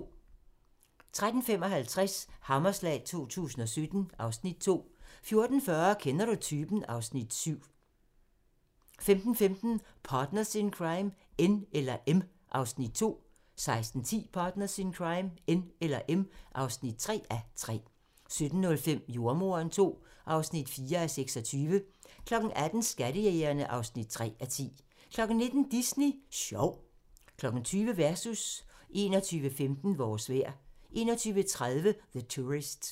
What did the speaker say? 13:55: Hammerslag 2017 (Afs. 2) 14:40: Kender du typen? (Afs. 7) 15:15: Partners in Crime: N eller M (2:3) 16:10: Partners in Crime: N eller M (3:3) 17:05: Jordemoderen II (4:26) 18:00: Skattejægerne (3:10) 19:00: Disney Sjov 20:00: Versus 21:15: Vores vejr 21:30: The Tourist